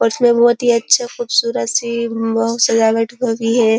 उसमे बहोत ही अच्छा ख़ूबसूरत सी सजावट की है।